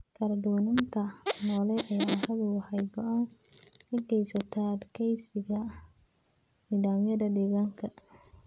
Kala-duwanaanta noole ee carradu waxay gacan ka geysataa adkeysiga nidaamyada deegaanka.